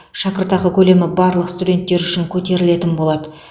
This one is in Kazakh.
шәкіртақы көлемі барлық студенттер үшін көтерілетін болады